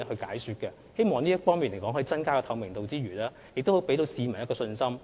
我們希望有關措施除可以增加透明度外，亦可給予市民信心。